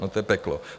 No, to je peklo.